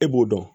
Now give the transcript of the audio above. E b'o dɔn